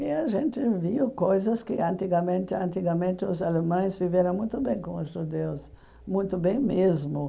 E a gente viu coisas que antigamente antigamente os alemães viveram muito bem com os judeus, muito bem mesmo.